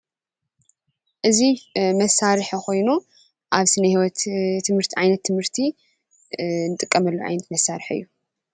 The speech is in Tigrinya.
እዙ መሣርሕ ኾይኑ ኣብ ስነሕይወት ትምህርቲ ዓይነት ትምህርቲ እንጥቀመሉ ዓይነት መሣርሕ እዩ::